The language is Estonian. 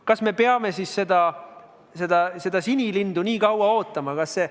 Kas me peame seda sinilindu nii kaua ootama?